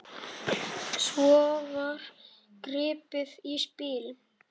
Svo var gripið í spil.